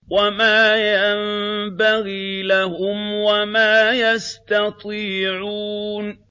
وَمَا يَنبَغِي لَهُمْ وَمَا يَسْتَطِيعُونَ